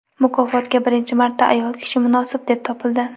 Mukofotga birinchi marta ayol kishi munosib deb topildi.